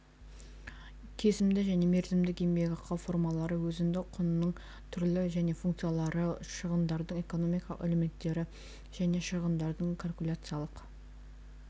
кесімді және мерзімдік еңбекақы формалары өзіндік құнның түрлері және функциялары шығындардың экономикалық элементтері және шығындардың калькуляциялық